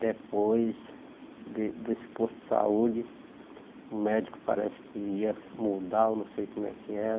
Depois de desse posto de saúde, o médico parece que ia se mudar, eu não sei como é que era.